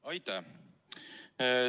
Aitäh!